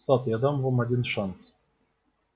сатт я дам вам один шанс